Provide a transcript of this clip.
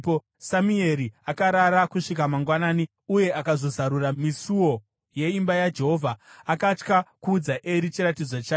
Samueri akarara kusvika mangwanani uye akazozarura misuo yeimba yaJehovha. Akatya kuudza Eri chiratidzo chake,